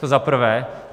To za prvé.